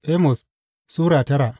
Amos Sura tara